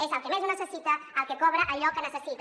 és el que més ho necessita el que cobra allò que necessita